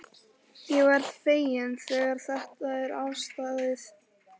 Ég verð feginn þegar þetta er afstaðið.